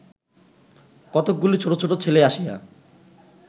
কতকগুলি ছোট ছোট ছেলে আসিয়া